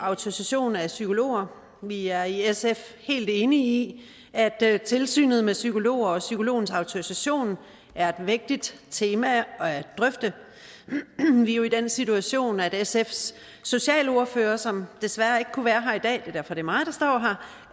autorisation af psykologer vi er i sf helt enige i at tilsynet med psykologer og psykologers autorisation er et vægtigt tema at drøfte vi er jo i den situation at sfs socialordfører som desværre ikke kunne være her i dag det er det mig der står